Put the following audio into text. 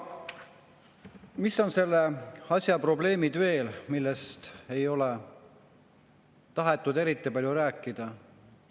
Mis on veel selle asja probleemid, millest ei ole tahetud eriti palju rääkida?